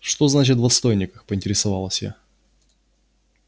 что значит в отстойниках поинтересовалась я